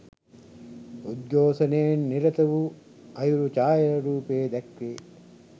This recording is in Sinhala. උද්ඝෝෂණයේ නිරත වූ අයුරු ඡායාරූපයේ දැක්වේ